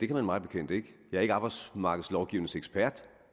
kan man mig bekendt ikke jeg er ikke arbejdsmarkedslovgivningsekspert